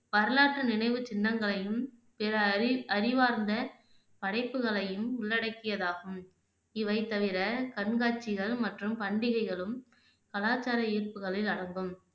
வரலாற்று நினைவு சின்னங்களையும் பிற அறி அறிவார்ந்த படைப்புகளையும் உள்ளடக்கியதாகும் இவை தவிற கண்காட்சிகள் மற்றும் பண்டிகைகளும் கலாச்சார ஈர்ப்புகளில் அடங்கும்